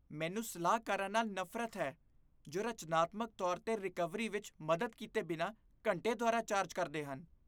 ਮੈਨੂੰ ਸਲਾਹਕਾਰਾਂ ਨਾਲ ਨਫ਼ਰਤ ਹੈ ਜੋ ਰਚਨਾਤਮਕ ਤੌਰ 'ਤੇ ਰਿਕਵਰੀ ਵਿੱਚ ਮਦਦ ਕੀਤੇ ਬਿਨਾਂ ਘੰਟੇ ਦੁਆਰਾ ਚਾਰਜ ਕਰਦੇ ਹਨ।